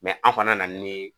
Mɛ an fana nani ni